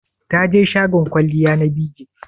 Taje shagon kwalliya na BeeJay?